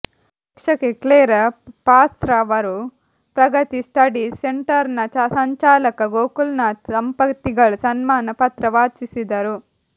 ಶಿಕ್ಷಕಿ ಕ್ಲೇರಾ ಪಾಸ್ರವರು ಪ್ರಗತಿ ಸ್ಟಡಿ ಸೆಂಟರ್ನ ಸಂಚಾಲಕ ಗೋಕುಲ್ನಾಥ್ ದಂಪತಿಗಳ ಸನ್ಮಾನ ಪತ್ರ ವಾಚಿಸಿದರು